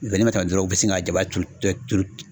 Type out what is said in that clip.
dɔrɔn u bɛ sin ka jaba turu turu.